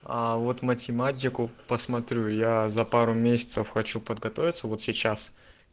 а вот математику посмотрю я за пару месяцев хочу подготовиться вот сейчас